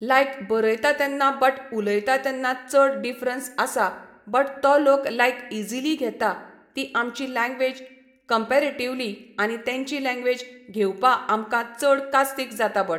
लायक बरयता तेन्ना बट उलोयता तेन्ना चड डिफरंस आसा बट तो लोक लायक इजिली घेता ती आमची लँग्वेज कंमपेरेटिवली आमी तेंची लँग्वेज घेवपा आमकां चड कास्तीक जाता बट